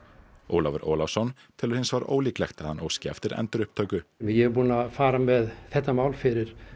Ólafur Ólafsson telur hins vegar ólíklegt að hann óski eftir endurupptöku ég er búinn að fara með þetta mál fyrir